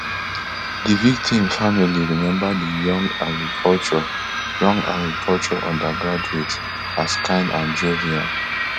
di victim family remember di young agriculture young agriculture undergraduate as kind and jovial